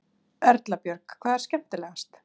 Erla Björg: Hvað er skemmtilegast?